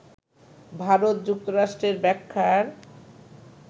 ভারত যুক্তরাষ্ট্রের ব্যাখ্যার